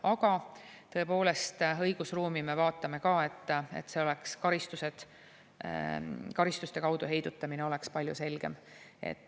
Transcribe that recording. Aga tõepoolest, õigusruumi me vaatame ka, et karistuste kaudu heidutamine oleks palju selgem.